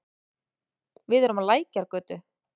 Við erum á Lækjargötu.